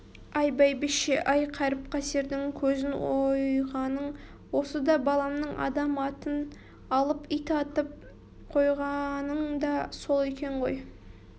ай бәйбіше-ай қаріп-қасердің көзін ойғаның осы да баламның адам атын алып ит атын қойғаның да сол екен ғой